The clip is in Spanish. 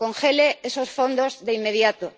Congelen esos fondos de inmediato.